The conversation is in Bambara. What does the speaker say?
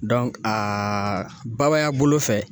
a babaya bolo fɛ